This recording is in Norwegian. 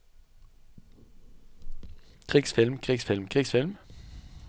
krigsfilm krigsfilm krigsfilm